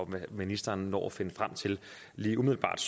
hvad ministeren når at finde frem til lige umiddelbart